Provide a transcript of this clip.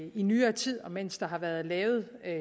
i nyere tid og mens der har været lavet